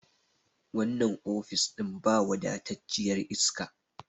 wannan ofis ɗin ba wafatacciyar iska